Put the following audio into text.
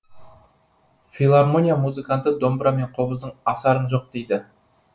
филармония музыканты домбыра мен қобыздан асарың жоқ дейді